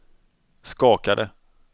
skakade